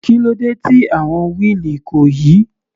Kílódé tí àwọn wheel kò yí?